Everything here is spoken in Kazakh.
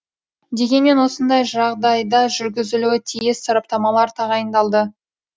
дегенмен осындай жағдайда жүргізілуі тиіс сараптамалар тағайындалды